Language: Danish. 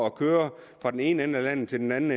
at køre fra den ene ende af landet til den anden